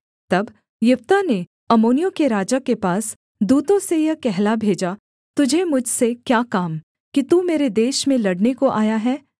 तब यिप्तह ने अम्मोनियों के राजा के पास दूतों से यह कहला भेजा तुझे मुझसे क्या काम कि तू मेरे देश में लड़ने को आया है